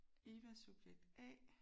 Eva subjekt A